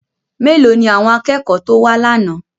Mélòó ni àwọn akẹ́kọ̀ọ́ tó wá lánàá?